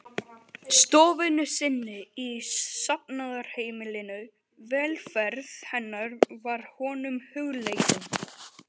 stofunni sinni í safnaðarheimilinu, velferð hennar var honum hugleikin.